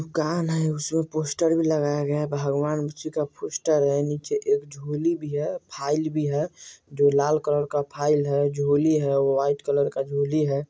एक दुकान है उसमें पोस्टर भी लगाया गया है भगवान नीचे एक झोली भी है फाइल भी है जो लाल कलर का फाइल है झोली है वो व्हाइट कलर का झोली है|